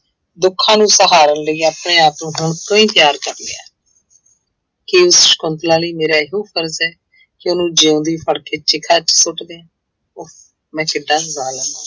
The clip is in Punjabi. ਦੁੱਖਾਂ ਨੂੰ ਸਹਾਰਨ ਲਈ ਆਪਣੇ ਆਪ ਨੂੰ ਹੁਣ ਤੋਂ ਹੀ ਤਿਆਰ ਕਰ ਲਿਆ ਕੀ ਸਕੁੰਤਲਾ ਲਈ ਮੇਰਾ ਇਹੋ ਫ਼ਰਜ਼ ਹੈ ਕਿ ਉਹਨੂੰ ਜਿਉਂਦੀ ਫੜ ਕੇ ਚਿਖਾ ਵਿੱਚ ਸੁਟ ਦਿਆਂ ਮੈਂ ਕਿੱਡਾ